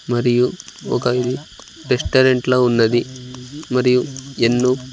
మరియు ఒక ఇల్-- రెస్టారెంట్ ల ఉన్నది మరియు ఎన్నో--